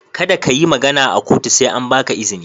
Kada ka yi magana a kotu sai an ba ka izini.